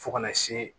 Fo kana se